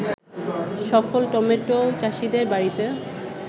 সফল টমেটো চাষিদের বাড়িতে